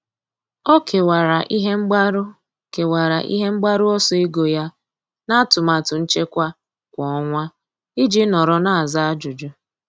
Ọ́ kèwàrà ihe mgbaru kèwàrà ihe mgbaru ọsọ ego ya n’átụ́màtụ nchekwa kwa ọnwa iji nọ́rọ́ n’ázá ájụ́jụ́.